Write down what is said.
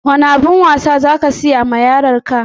Wane abun wasa za ka siya wa yaron ka?